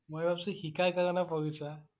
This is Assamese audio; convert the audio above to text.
মই ভাবিছোঁ শিকাৰ কৰিব পঢ়িছা।